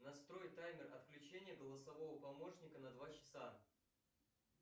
настрой таймер отключения голосового помощника на два часа